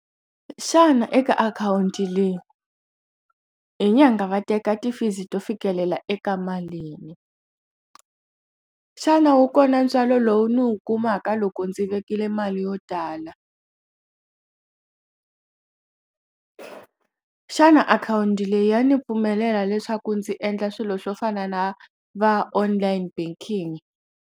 Xana eka akhawunti leyi i nyangha va teka ti fees to fikelela eka malini xana wu kona ntswalo lowu ni wu kumaka loko ndzi vekile le mali yo tala xana akhawunti leyi ya ni pfumelela leswaku ndzi endla swilo swo fana na va online banking.